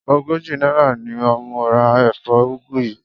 Ogójì náírà ni mo ra èfó ugu yìí.